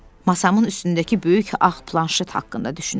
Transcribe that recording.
Masamın üstündəki böyük ağ planşet haqqında düşünürdüm.